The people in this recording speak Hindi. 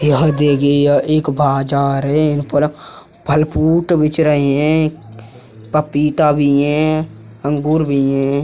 यह देखिये यह एक बाजार है। यहाँ पर फल फ्रूट बिच रही हैं। पपीता भी है। अंगूर भी है।